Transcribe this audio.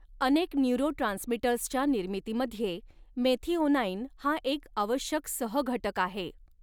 अनेक न्यूरोट्रांसमीटर्सच्या निर्मितीमध्ये मेथिओनाइन हा एक आवश्यक सहघटक आहे.